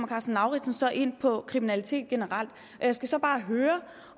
karsten lauritzen så ind på kriminalitet generelt jeg skal så bare høre